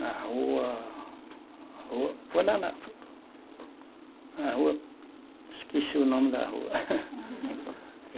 Na rua Rua, foi lá na rua. Na rua, esqueci o nome da rua.